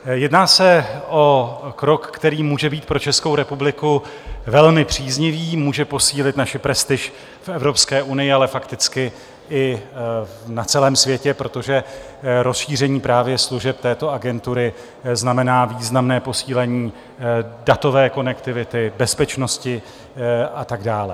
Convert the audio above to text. Jedná se o krok, který může být pro Českou republiky velmi příznivý, může posílit naši prestiž v Evropské unii, ale fakticky i na celém světě, protože rozšíření právě služeb této agentury znamená významné posílení datové konektivity, bezpečnosti a tak dále.